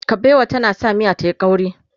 kabewa tana sa miya tayi ƙauri